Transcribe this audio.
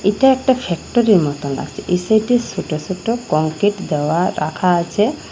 এটা একটা ফ্যাক্টরির মতো আছে এই সাইডে ছোট ছোট কংক্রিট দেওয়া রাখা আছে।